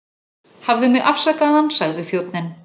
Hafðu mig afsakaðan sagði þjónninn.